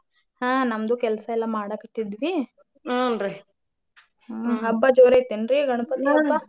ಹಾ ನಮ್ದು ಕೆಲ್ಸಾ ಎಲ್ಲಾ ಮಾಡಾಕತ್ತಿದ್ದೂರಿ ಹಬ್ಬಾ ಜೋರ ಐತಿ ಏನ್ರಿ ಗಣಪತಿ ಹಬ್ಬಾ?